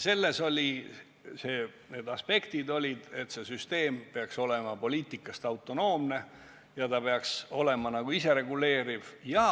Toonased aspektid olid, et see süsteem ei tohiks sõltuda poliitikast, peaks olema isereguleeriv ja